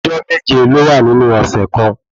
Ọjọ́ méje ló wà nínú ọ̀sẹ̀ kan